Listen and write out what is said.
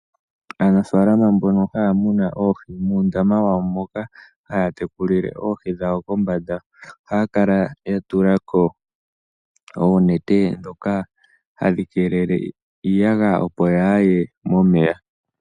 Aanafaalama mbono haya muna oohi, muundama wawo moka haya tekulile oohi dhawo kombanda ohaya kala ya tulako oonete, ndhoka hadhi keelele iiyagaya opo yaaye momeya.